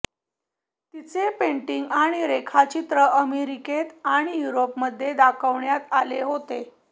तिचे पेंटिंग आणि रेखाचित्र अमेरिकेत आणि युरोपमध्ये दाखवण्यात आले होते